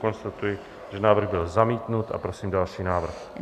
Konstatuji, že návrh byl zamítnut, a prosím další návrh.